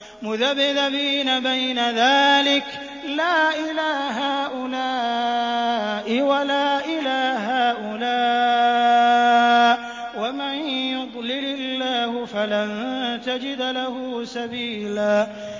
مُّذَبْذَبِينَ بَيْنَ ذَٰلِكَ لَا إِلَىٰ هَٰؤُلَاءِ وَلَا إِلَىٰ هَٰؤُلَاءِ ۚ وَمَن يُضْلِلِ اللَّهُ فَلَن تَجِدَ لَهُ سَبِيلًا